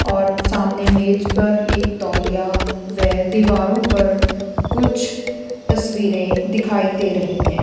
और सामने मेज पर एक तौलिया वे दीवारों पर कुछ तस्वीरें दिखाई दे रही है।